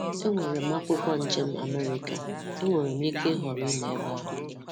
Enwere m akwụkwọ njem Amerịka, enwere m ike ịhọrọ ịnọ ebe ahụ.